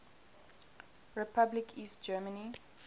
republic east germany